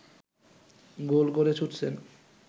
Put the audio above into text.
গোল করে ছুটছেন